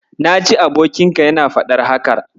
Na ji abokinka yana faɗar haka.